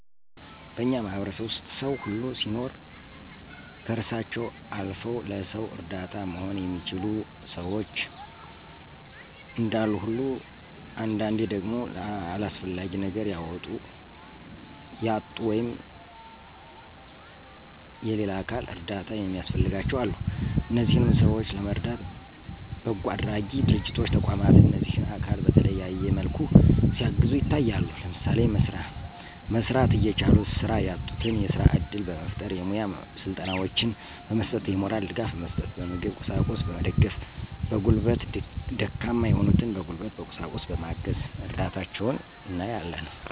በእኛ ማህበረሰብ ዉስጥ ሰዉ ሁሉ ሲኖር ከእራሳቸዉ አልዉ ለሰዉ እረዳት መሆን የሚችሉ ሸዎች እንዳሉ ሁሉ አንዳንዴ ደግሞ ለአስፈላጊ ነገር ያጡ ወይም <የሌላ አካል እርዳታ የሚያስፈልጋቸዉ>አሉ። እነዚህንም ሰዎች ለመርዳት በጎአድራጊ ድርጅቶች ተቋማት እነዚህን አካል በተለያየ መልኩ ሲያግዙ ይታያሉ። ለምሳሌ፦ መስራት እየቻሉ ስራ ያጡትን የስራ እድል በመፍጠር፣ የሙያ ስልጠናወችን በመስጠት፣ የሞራል ድጋፍ በመስጠት፣ በምግብ ቁሳቁስ በመገደፍ፣ በጉልበት ደካማ የሆኑትን በጉልበት በቁሳቁስ በማገዝ እርዳታቸዉን እናያለን።